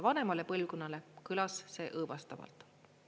Vanemale põlvkonnale kõlas see õõvastavalt.